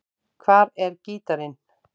Hvar er gítarinn?